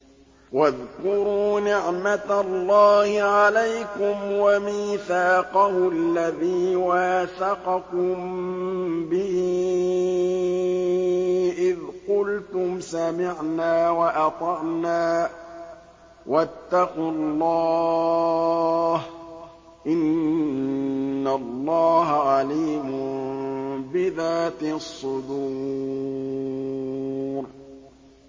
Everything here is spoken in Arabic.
وَاذْكُرُوا نِعْمَةَ اللَّهِ عَلَيْكُمْ وَمِيثَاقَهُ الَّذِي وَاثَقَكُم بِهِ إِذْ قُلْتُمْ سَمِعْنَا وَأَطَعْنَا ۖ وَاتَّقُوا اللَّهَ ۚ إِنَّ اللَّهَ عَلِيمٌ بِذَاتِ الصُّدُورِ